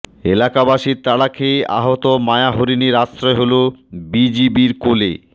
এলাকাবাসীর তাড়া খেয়ে আহত মায়াহরিণের আশ্রয় হলো বিজিবির কোলে